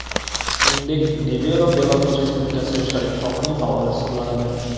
Shuningdek, Nevero Belarus Respublikasi yoshlar ittifoqining faoli hisoblanadi.